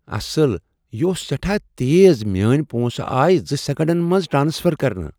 اصل، یہ اوس سیٹھاہ تیز میٲنۍ پونٛسہٕ آیہ زٕ سیکنڈن منٛز ٹرانسفر کرنہٕ